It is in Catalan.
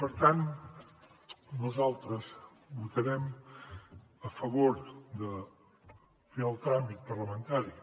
per tant nosaltres votarem a favor de fer el tràmit parlamentari